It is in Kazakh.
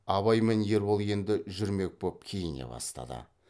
абай мен ербол енді жүрмек боп киіне бастады